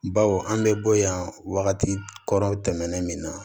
Baw an bɛ bɔ yan wagati kɔrɔ tɛmɛnen min na